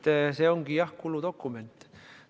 Nii et see ongi, jah, kuludokument.